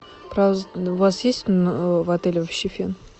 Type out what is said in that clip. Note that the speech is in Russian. у вас есть в отеле вообще фен